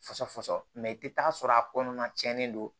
Fasɔfɔfɔsɔ mɛ i tɛ taa sɔrɔ a kɔnɔna tiɲɛnen don